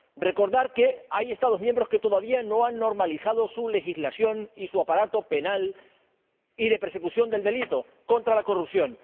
recordar que hay Estados miembros que todavía no han normalizado su legislación y su aparato penal y de persecución del delito contra la corrupción